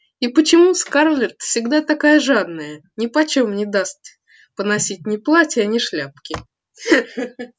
и почему скарлетт всегда такая жадная нипочём не даст поносить ни платья ни шляпки ха ха